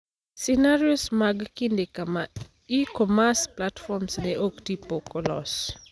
Scenarios mag kinde kama e-commerce platform ne oktii pok olos.